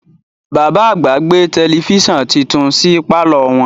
Bàbá àgbà gbé tẹlẹfísàn titun sí pàlọ́ wọn